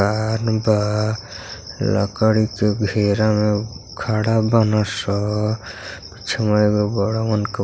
मैदान बा लकड़ी के घेरा में खड़ा बाड़न स। पिछवा एगो बड़हन --